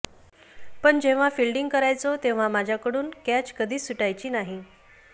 पण जेव्हा फिल्डींग करायचो तेव्हा माझ्याकडून कॅच कधीच सुटायची नाही